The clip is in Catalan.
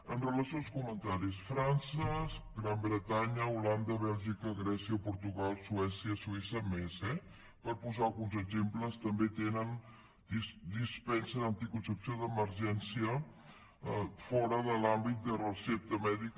amb relació als comentaris frança gran bretanya holanda bèlgica grècia portugal suècia suïssa més eh per posar ne alguns exemples també dispensen anticoncepció d’emergència fora de l’àmbit de recepta mèdica